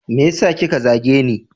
Meyasa kika zageni?